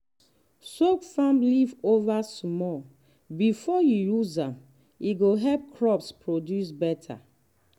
soak farm leftover small before you use am e go help crops produce better.